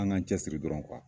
An ga cɛsiri dɔrɔn